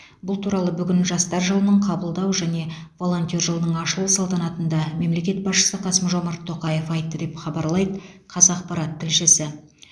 бұл туралы бүгін жастар жылының қабылдау және волонтер жылының ашылу салтанатында мемлекет басшысы қасым жомарт тоқаев айтты деп хабарлайды қазақпарат тілшісі